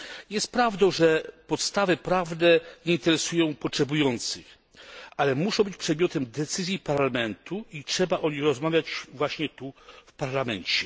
Jest prawdą, że podstawy prawne nie interesują potrzebujących, ale muszą być przedmiotem decyzji Parlamentu i trzeba o nich rozmawiać właśnie tutaj w Parlamencie.